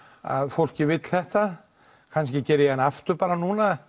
fólkið vill þetta kannski geri ég hana aftur bara núna